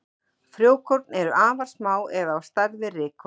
Frjókorn eru afar smá eða á stærð við rykkorn.